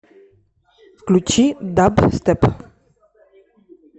включи дабстеп